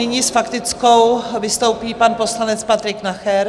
Nyní s faktickou vystoupí pan poslanec Patrik Nacher.